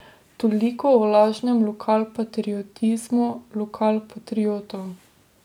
Toliko o lažnem lokalpatriotizmu lokalpatriotov.